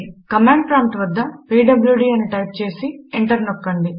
command prompt వద్ద PWD అని type చేసి ఎంటర్ నొక్కండి